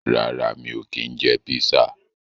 Rárá mi ò kí ń jẹ písà.